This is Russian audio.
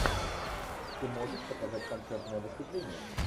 ты можешь показать концертное выступление